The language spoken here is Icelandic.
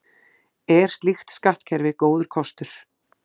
Er slíkt skattkerfi góður kostur?